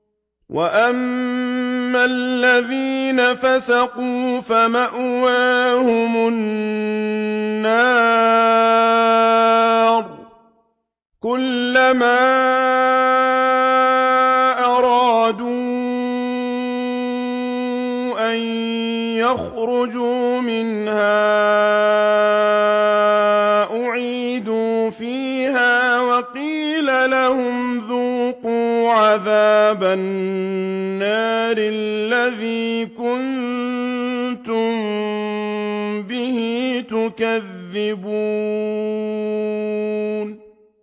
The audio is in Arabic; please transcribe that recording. وَأَمَّا الَّذِينَ فَسَقُوا فَمَأْوَاهُمُ النَّارُ ۖ كُلَّمَا أَرَادُوا أَن يَخْرُجُوا مِنْهَا أُعِيدُوا فِيهَا وَقِيلَ لَهُمْ ذُوقُوا عَذَابَ النَّارِ الَّذِي كُنتُم بِهِ تُكَذِّبُونَ